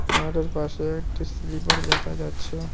মাঠের পাশে একটি স্লিপার দেখা যাচ্ছে।